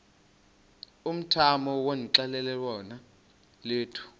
umthamo wonxielelwano lwethu